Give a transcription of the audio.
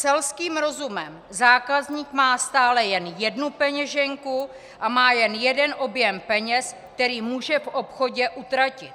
Selským rozumem - zákazník má stále jen jednu peněženku a má jen jeden objem peněz, který může v obchodě utratit.